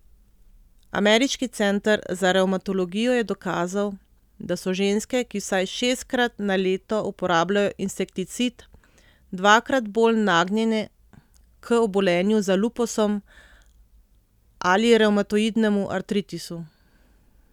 Ameriški center za revmatologijo je dokazal, da so ženske, ki vsaj šestkrat na leto uporabljajo insekticid, dvakrat bolj nagnjene k obolenju za lupusom ali revmatoidnemu artritisu.